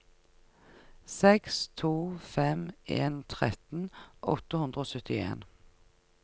seks to fem en tretten åtte hundre og syttien